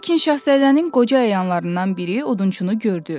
Lakin Şahzadənin qoca əyanlarından biri odunçunu gördü.